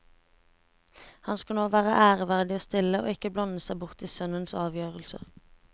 Han skal nå være ærverdig og stille, og ikke blande seg bort i sønnens avgjørelser.